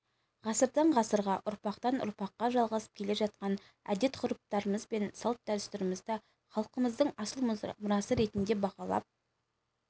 ғасырдан-ғасырға ұрпақтан ұрпаққа жалғасып келе жатқан әдет-ғұрыптарымыз бен салт-дәстүрімізді халқымыздың асыл мұрасы ретінде бағалап